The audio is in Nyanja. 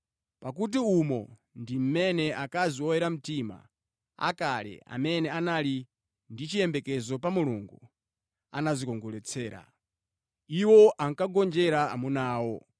Pakuti umo ndi mmene akazi oyera mtima akale amene anali ndi chiyembekezo pa Mulungu anadzikongoletsera. Iwo ankagonjera amuna awo,